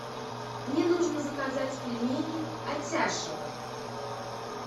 мне нужно заказать пельмени атяшево